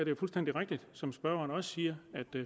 jo fuldstændig rigtigt som spørgeren også siger